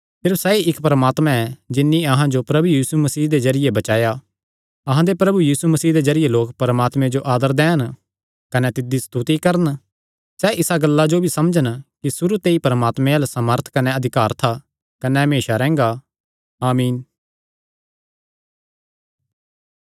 सिर्फ सैई इक्क परमात्मा ऐ जिन्नी अहां जो प्रभु यीशु मसीह दे जरिये बचाया अहां दे प्रभु यीशु मसीह दे जरिये लोक परमात्मे जो आदर दैन कने तिसदी स्तुति करन सैह़ इसा गल्ला जो भी समझन कि सुरू ते ई परमात्मे अल्ल सामर्थ कने अधिकार था कने ऐ कने हमेसा रैंह्गा आमीन